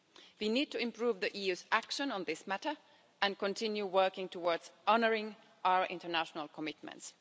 We need to improve the EU's action on this matter and continue working towards honouring our international commitments.